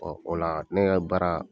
o la ne ka baara